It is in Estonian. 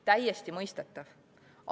Täiesti mõistetav.